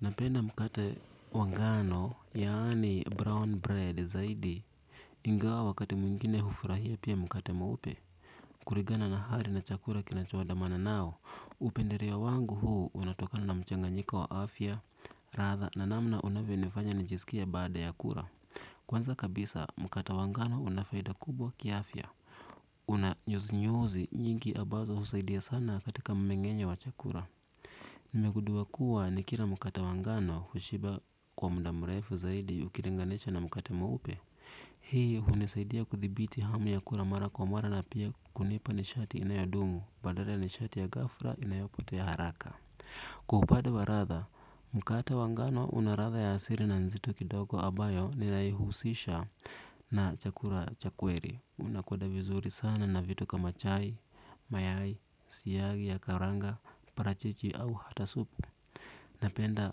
Napenda mkate wangano yaani brown bread zaidi ingawa wakati mwingine hufurahia pia mkate mweupe kulingana na hali na chakula kinachoandamana nao upendeleo wangu huu unatokana na mchanganyiko wa afya ladha na namna unavyo nifanya nijisikie baada ya kula. Kwanza kabisa mkate wangano unafaida kubwa kiafya. Una nyuzi nyuzi nyingi ambazo husaidia sana katika mmengenyo wa chakula. Nime gundua kuwa nikila mkate wangano hushiba kwa muda mrefu zaidi ukilinganisha na mkate mweupe. Hii hunisaidia kudhibiti hamu ya kula mara kwa mara na pia kunipa nishati inayodumu badala ya nishati ya ghafla inayopotea haraka. Kwa upande wa ladha, mkate wangano unaladha ya asili na nzito kidogo ambayo ninaihusisha na chakula chakweli. Unakwenda vizuri sana na vitu kama chai, mayai, siagi ya karanga, parachichi au hata supu. Napenda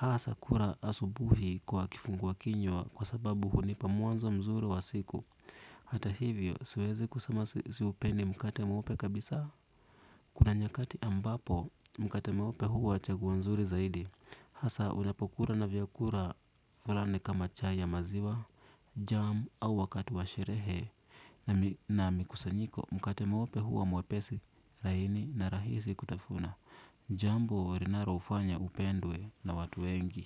hasa kula asubuhi kwa kifungua kinywa kwa sababu hunipa mwanzo mzuri wa siku. Hata hivyo siwezi kusema siupendi mkate mweupe kabisa. Kuna nyakati ambapo mkate mweupe huwa chaguo nzuri zaidi. Hasa unapokula na vyakula fulani kama chai ya maziwa, jamu au wakati wa sherehe na mikusanyiko mkate mweupe huwa mwepesi, laini na rahisi kutafuna. Jambo linalo ufanya upendwe na watu wengi.